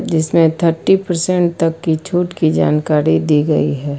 जिसमें thirty percent तक की छूट की जानकारी दी गई है।